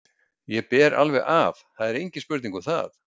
Ég ber alveg af, engin spurning um það.